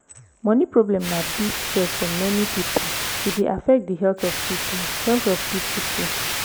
money problem na big stress for many people e dey affect di health of pipo health of pipo too